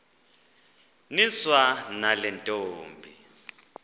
niswa nale ntombi